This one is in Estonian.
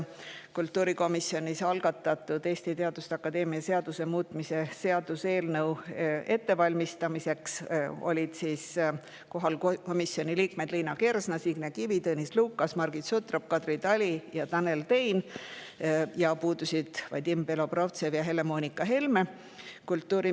Kultuurikomisjonis algatatud Eesti Teaduste Akadeemia seaduse muutmise seaduse eelnõu ettevalmistamiseks olid kohal komisjoni liikmed Liina Kersna, Signe Kivi, Tõnis Lukas, Margit Sutrop, Kadri Tali ja Tanel Tein, puudusid Vadim Belobrovtsev ja Helle-Moonika Helme.